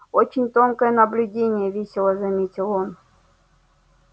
очень тонкое наблюдение весело заметил он